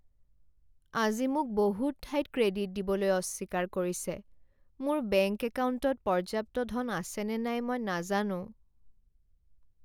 আজি মোক বহুত ঠাইত ক্ৰেডিট দিবলৈ অস্বীকাৰ কৰিছে। মোৰ বেংক একাউণ্টত পৰ্যাপ্ত ধন আছেনে নাই মই নাজানো।